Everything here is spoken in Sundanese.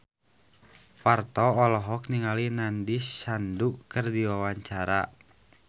Parto olohok ningali Nandish Sandhu keur diwawancara